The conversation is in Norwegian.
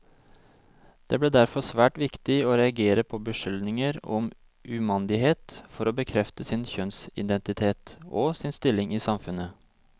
Det ble derfor svært viktig å reagere på beskyldninger om umandighet for å bekrefte sin kjønnsidentitet, og sin stilling i samfunnet.